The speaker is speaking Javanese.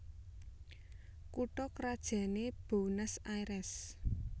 Kutha krajané Buénos Airès